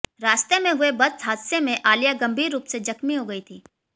रास्ते में हुए बस हादसे में आलिया गंभीर रूप से जख्मी हो गई थी